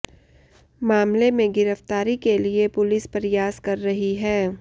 मामले में गिरफ्तारी के लिए पुलिस प्रयास कर रही है